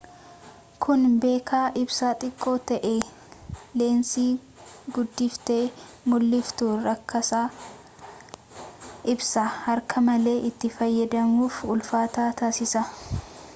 kuni bakka ibsaan xiqqoo ta'etti leensii guddiftee muldhiftuuu rakasaa ibsaa harkaa malee itti fayyadamuuf ulfaataa taasisa